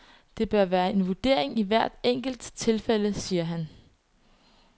Det bør være en vurdering i hvert enkelt tilfælde, siger han.